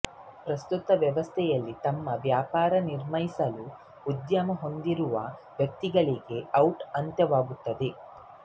ಪ್ರಸ್ತುತ ವ್ಯವಸ್ಥೆಯಲ್ಲಿ ತಮ್ಮ ವ್ಯಾಪಾರ ನಿರ್ಮಿಸಲು ಉದ್ಯಮ ಹೊಂದಿರುವ ವ್ಯಕ್ತಿಗಳಿಗೆ ಔಟ್ ಅಂತ್ಯವಾಗುತ್ತದೆ